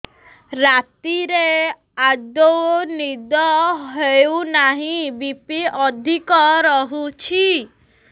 ରାତିରେ ଆଦୌ ନିଦ ହେଉ ନାହିଁ ବି.ପି ଅଧିକ ରହୁଛି